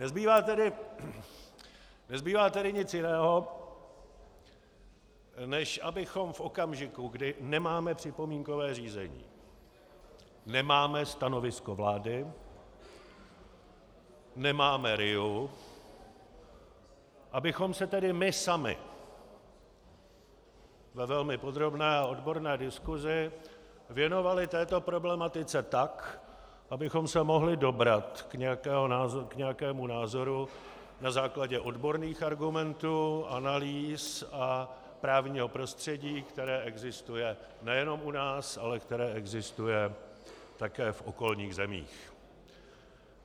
Nezbývá tedy nic jiného, než abychom v okamžiku, kdy nemáme připomínkové řízení, nemáme stanovisko vlády, nemáme RIA, abychom se tedy my sami ve velmi podrobné a odborné diskusi věnovali této problematice tak, abychom se mohli dobrat k nějakému názoru na základě odborných argumentů, analýz a právního prostředí, které existuje nejenom u nás, ale které existuje také v okolních zemích.